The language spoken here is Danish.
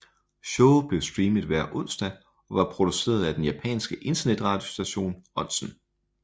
Showet blev streamet hver onsdag og var produceret af den japanske internetradiostation Onsen